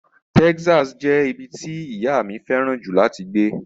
Texas jẹ́ ibi tí ìyá mi fẹ́ràn jù láti gbé.